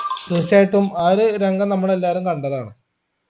തീർച്ചയായിട്ടും ആ ഒരു രംഗം നമ്മലെല്ലാരും കണ്ടതാണ്